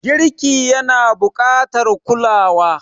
Girki yana buƙatar kulawa.